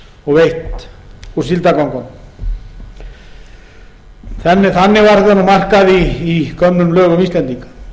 í henni og veitt úr síldargöngunum þannig var þetta markað í gömlum lögum íslendinga